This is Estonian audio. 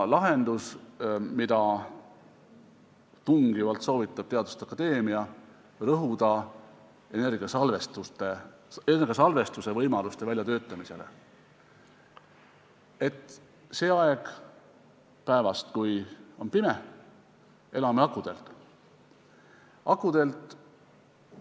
Lahendus, mida tungivalt soovitab teaduste akadeemia, on rõhuda energiasalvestusvõimaluste väljatöötamisele, sest sel ajal päevast, kui on pime, me elame akude abil.